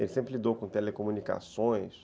Ele sempre lidou com telecomunicações.